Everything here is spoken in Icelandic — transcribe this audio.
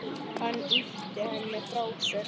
Hann ýtir henni frá sér.